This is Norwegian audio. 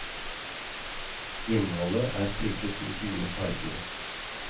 Innholdet er trykket i fire farger.